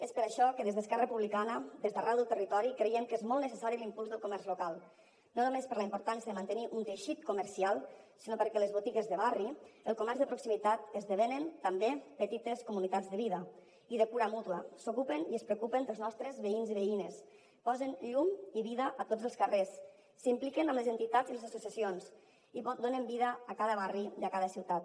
és per això que des d’esquerra republicana des d’arreu del territori creiem que és molt necessari l’impuls del comerç local no només per la importància de mantenir un teixit comercial sinó perquè les botigues de barri el comerç de proximitat esdevenen també petites comunitats de vida i de cura mútua s’ocupen i es preocupen dels nostres veïns i veïnes posen llum i vida a tots els carrers s’impliquen amb les entitats i les associacions i donen vida a cada barri i a cada ciutat